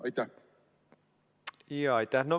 Aitäh!